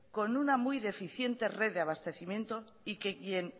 con una muy deficiente red de abastecimiento y que quien